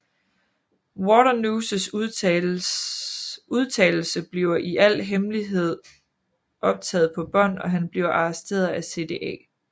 Waternooses udtalelse bliver i al hemmelighed optaget på bånd og han bliver arresteret af CDA